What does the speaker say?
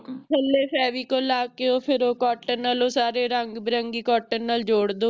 ਥੱਲੇ ਫ਼ੇਵਿਕੋਲ ਲੈ ਕੇ ਫਿਰ ਉਹ Cotton ਨਾਲੋਂ ਰੰਗ ਬਿਰੰਗੀ Cotton ਨਾਲ ਜੋੜ ਦੋ